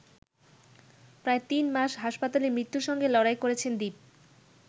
প্রায় তিন মাস হাসপাতালে মৃত্যুর সঙ্গে লড়াই করেছেন দীপ।